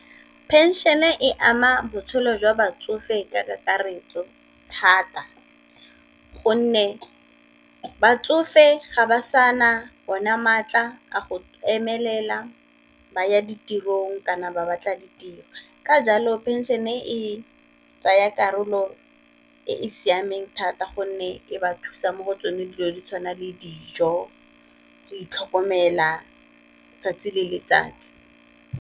Pension e ama botshelo jwa batsofe ka kakaretso thata, gonne batsofe ga ba sa na ona maatla a go emelela ba ya ditirong kana ba batla ditiro. Ka jalo pension e tsaya karolo e e siameng thata gonne e ba thusa mo go tsone dilo di tshwana le dijo, go itlhokomela 'tsatsi le letsatsi.